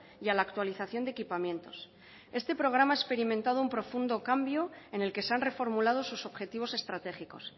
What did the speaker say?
y a la actualización de equipamientos este programa ha experimentado un profundo cambio en el que se han reformulado sus objetivos estratégicos